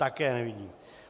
Také nevidím.